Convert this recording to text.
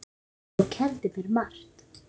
Þú kenndir mér margt.